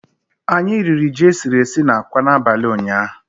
Anyị riri ji e siri esi na akwa n'abalị ụnyaahụ